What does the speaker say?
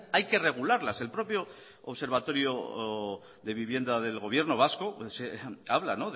hay que regularlas el propio observatorio de vivienda del gobierno vasco habla